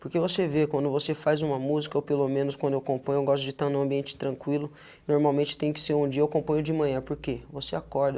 Porque você vê quando você faz uma música, ou pelo menos quando eu componho, eu gosto de estar no ambiente tranquilo, normalmente tem que ser um dia, eu componho de manhã, porque você acorda,